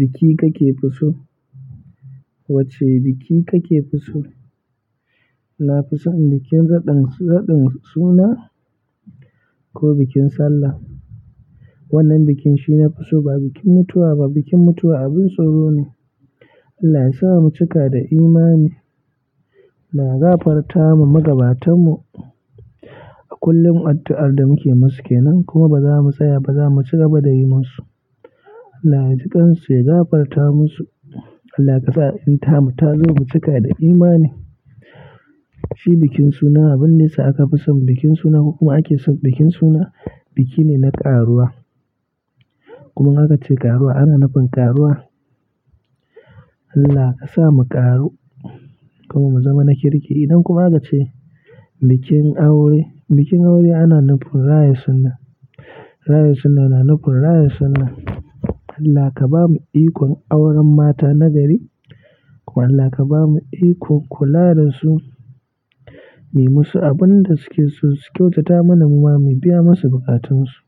Biki kake fi so? Wacce biki kake fi so? Na fi son bikin raɗan, raɗin suna ko bikin sallah. Wannan bikin shine na fi so, ba bikin mutuwa ba. Bikin mutuwa abin tsoro ne. Allah ya sa mu cika da imani. Allah ya gafarta ma magabatanmu a kullum addu'ar da muke musu ke nan. Kuma ba za mu tsaya ba, za mu cigaba da yi musu. Allah ya jiƙansu, ya gafarta musu. Allah kasa in tamu, ta zo mu cika da imani. Shi bikin suna abun da ya sa aka fi son bikin suna. Hukuma ake son bikin suna, biki ne na ƙaruwa. Kuma in aka ce karuwa ana nufin karuwa Allah ka sa mu ƙaru kuma mu zama na kirki. Idan kuma aka ce bikin aure. Bikin aure ana nufin raya sunna. Raya sunna na nufin raya sunna. Allah ka ba mu ikon auren mata na gari. Wallah ka bamu ikon kula da su, muyi musu abunda suke so su kyautata mana muma mu biya musu buƙatun su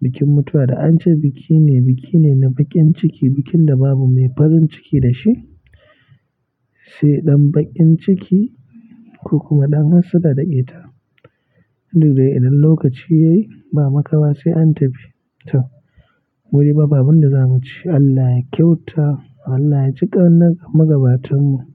bikin mutuwa da an ce biki ne, biki ne na bakin ciki. Bikin da babu mai farin ciki da shi, sai ɗan bakin ciki ko kuma ɗan hassada da ƙeta. Indu dai idan lokaci yayi ba makawa sai an tafi. To muyi babu abunda za mu ci. Allah ya kyauta. Allah ya jiƙa wannan magabatanmu.